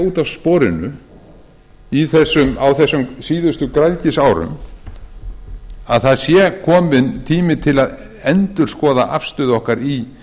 út af sporinu á þessum síðustu græðgisárum að það sé kominn tími til að endurskoða afstöðu okkar í